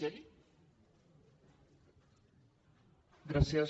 gràcies